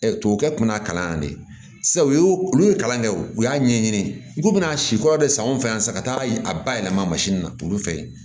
tubabukɛ kun y'a kalan yan de yen u ye olu ye kalan kɛ o u y'a ɲɛɲini i ko bɛn'a si kɔrɔ de san anw fɛ yan sa ka taa a ba yɛlɛma na olu fɛ yen